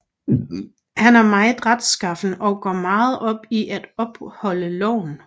Han er meget retskaffen og går meget op i at opholde loven